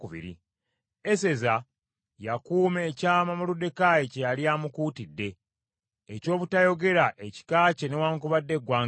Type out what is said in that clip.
Eseza yakuuma ekyama Moluddekaayi kye yali amukuutidde, eky’obutayogera ekika kye newaakubadde eggwanga lye.